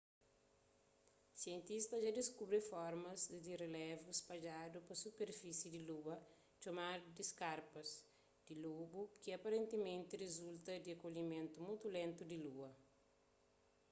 sientistas dja diskubri formas di relevu spadjadu pa superfisi di lua txomadu di skarpas di lobu ki aparentimenti rizulta di enkolhimentu mutu lentu di lua